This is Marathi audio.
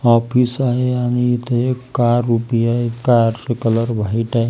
ऑफिस आहे आणि इथ एक कार उभी आहे कार चा कलर व्हाईट आहे.